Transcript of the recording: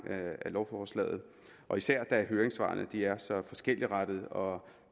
af lovforslaget og især da høringssvarene er så forskelligtrettede og